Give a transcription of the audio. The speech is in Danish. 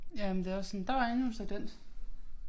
Ja men det er også sådan der var endnu en sekvens